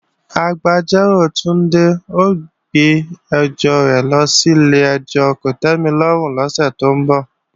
Agbẹjọ́rò Túndé ó gbé ẹjọ́ rẹ̀ lọ sí ilé-ẹjọ́ kòtẹ́milọ́rùn lọ́sẹ̀ tó ń bọ̀